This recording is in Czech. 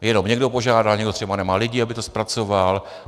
Jenom někdo požádá, někdo třeba nemá lidi, aby to zpracoval.